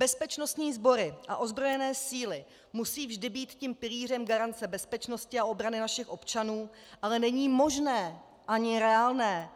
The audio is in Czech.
Bezpečnostní sbory a ozbrojené síly musí vždy být tím pilířem garance bezpečnosti a obrany našich občanů, ale není možné ani reálné,